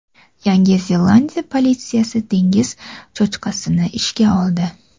Yangi Zelandiya politsiyasi dengiz cho‘chqasini ishga oldi.